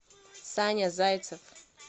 саня зайцев